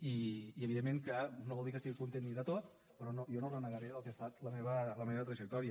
i evidentment que no vol dir que estigui content de tot però jo no renegaré del que ha estat la meva trajectòria